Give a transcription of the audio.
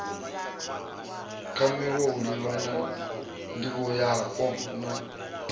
kwamiwa u livhana ndivhoyapo na